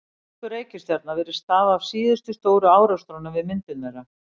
Snúningur reikistjarna virðist stafa af síðustu stóru árekstrunum við myndun þeirra.